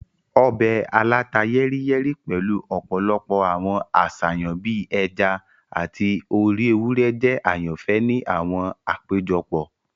Ọbẹ̀ aláta-yẹ́ríyẹ́rí pẹ̀lu ọ̀pọ̀lọpọ̀ àwọn àṣàyàn bii ẹja ati orí ewúrẹ́ jẹ àyànfẹ́ ni àwọn àpéjọpọ̀.